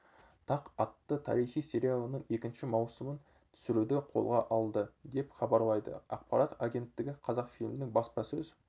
тақ атты тарихи сериалының екінші маусымын түсіруді қолға алды деп хабарлайды ақпарат агенттігі қазақфильмнің баспасөз